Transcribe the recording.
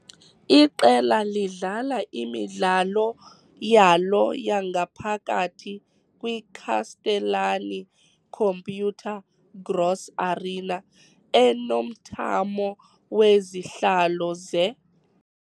Iqela lidlala imidlalo yalo yangaphakathi kwi -Castellani-Computer Gross Arena, enomthamo wezihlalo ze- .